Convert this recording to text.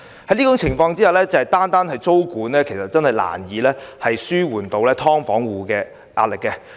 在這種情況下，單單實施租金管制確實難以紓緩"劏房戶"的壓力。